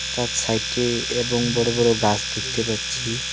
তার সাইডে এবং বড় বড় গাছ দেখতে পাচ্ছি.